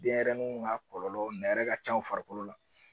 Denɲɛrɛninw ka kɔlɔlɔ nɛrɛ ka ca u farikolo la.